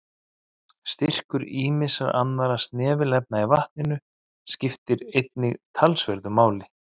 Styrkur ýmissa annarra snefilefna í vatninu skiptir einnig talsverðu máli.